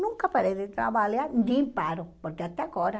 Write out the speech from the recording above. Nunca parei de trabalhar, nem paro, porque até agora.